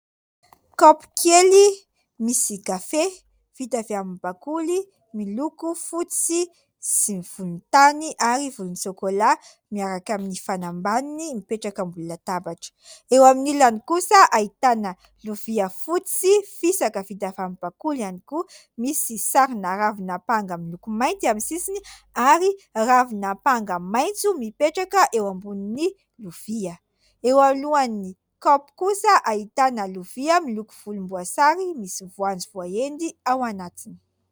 Kaopy kely misy kafe vita avy amin'ny bakoly miloko fotsy sy volontany ary volontsôkôla miaraka amin'ny fanambaniny mipetraka ambony latabatra. Eo amin'ny ilany kosa ahitana lovia fotsy, fisaka, vita avy amin'ny bakoly ihany koa. Misy sarina ravin'apanga miloko mainty amin'ny sisiny ary ravin'apanga maitso mipetraka eo ambonin'ny lovia. Eo alohan'ny kaopy kosa ahitana lovia miloko volomboasary. Misy voanjo voahendy ao anatiny.